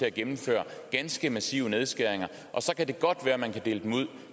at gennemføre ganske massive nedskæringer så kan det godt være man kan dele dem ud